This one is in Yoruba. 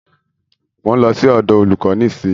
Mo ń lọ sí ọ̀dọ̀ olúkò nísìyí.